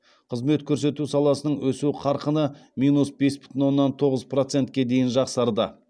қызмет көрсету саласының өсу қарқыны минус бес бүтін оннан тоғыз процетке дейін жақсарды